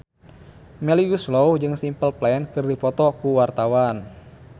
Melly Goeslaw jeung Simple Plan keur dipoto ku wartawan